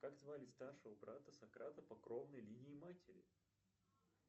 как звали старшего брата сократа по кровной линии матери